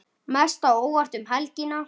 Mest á óvart um helgina?